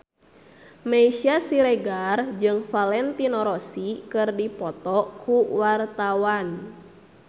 Meisya Siregar jeung Valentino Rossi keur dipoto ku wartawan